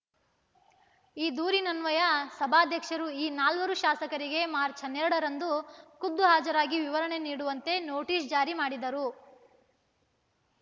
ಈ ದೂರಿನನ್ವಯ ಸಭಾಧ್ಯಕ್ಷರು ಈ ನಾಲ್ವರು ಶಾಸಕರಿಗೆ ಮಾರ್ಚ್ ಹನ್ನೆರಡರಂದು ಖುದ್ಧು ಹಾಜರಾಗಿ ವಿವರಣೆ ನೀಡುವಂತೆ ನೋಟಿಸ್ ಜಾರಿ ಮಾಡಿದ್ದರು